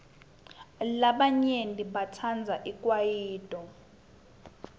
labanyenti batsandza ikwayito